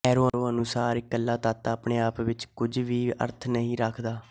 ਕੈਰੋਂ ਅਨੁਸਾਰ ਇਕੱਲਾ ਤੱਤ ਆਪਣੇ ਆਪ ਵਿੱਚ ਕੁਝ ਵੀ ਅਰਥ ਨਹੀਂ ਰੱਖਦਾ